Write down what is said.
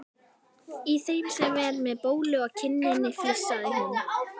Í þeim sem er með bólu á kinninni flissaði hún.